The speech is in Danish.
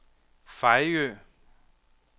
Fejø